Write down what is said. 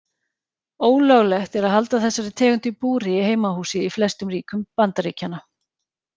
Ólöglegt er að halda þessari tegund í búri í heimahúsi í flestum ríkjum Bandaríkjanna.